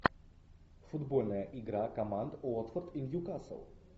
футбольная игра команд уотфорд и ньюкасл